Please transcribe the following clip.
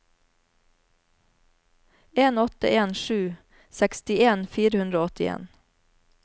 en åtte en sju sekstien fire hundre og åttien